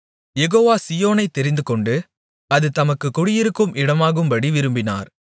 யெகோவா சீயோனைத் தெரிந்துகொண்டு அது தமக்குக் குடியிருக்கும் இடமாகும்படி விரும்பினார்